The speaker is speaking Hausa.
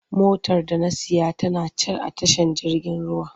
Motar da na saya tana can a tashar jirgin ruwa.